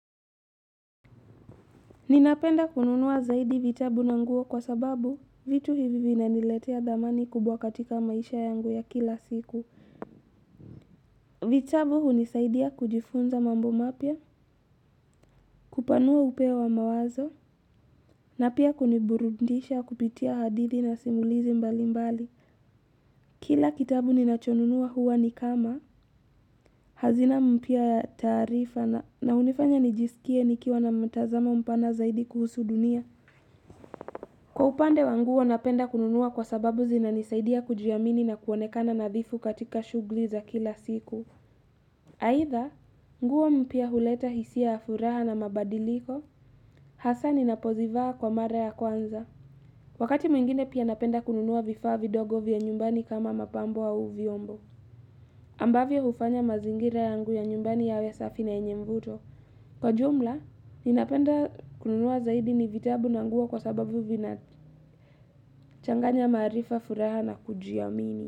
Ninapenda kununua zaidi vitabu na nguo kwa sababu vitu hivi vinaniletea dhamani kubwa katika maisha yangu ya kila siku. Vitabu hunisaidia kujifunza mambo mapya, kupanua upeo wa mawazo, na pia kuniburundisha kupitia hadithi na simulizi mbali mbali. Kila kitabu ninachonunua huwa nikama, hazina mpya taarifa na na unifanya nijiskie nikiwa na mtazamo mpana zaidi kuhusu dunia. Kwa upande wa nguo napenda kununua kwa sababu zinanisaidia kujiamini na kuonekana nadhifu katika shughli za kila siku. Aidha, nguo mpya huleta hisia ya furaha na mabadiliko, hasa ninapozivaa kwa mara ya kwanza. Wakati mwingine pia napenda kununua vifaa vidogo vya nyumbani kama mapambo au vyombo. Ambavyo hufanya mazingira yangu ya nyumbani yawe safi na yenye mvuto. Kwa jumla, ninapenda kununua zaidi ni vitabu na nguo kwa sababu vina changanya maarifa furaha na kujiamini.